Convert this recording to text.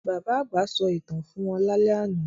Bàbá àgbà sọ ìtàn fún wọn lálẹ́ àná